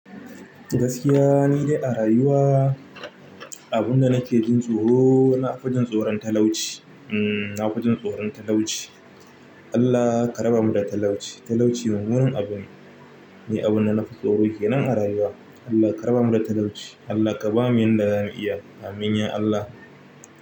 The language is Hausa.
Gaskiya ni dai a rayuwa, abunda nake jin tsoro na fijin tsoron talauci. Umm, na fijin tsoron talauci. Allah ka raba mu da talauci. Talauci mummunan abune ni abunda nafi tsoro kenan a rayuwa. Allah ka raba mu da talauci. Allah ka bamu yanda zamu iya. Amin ya Allah.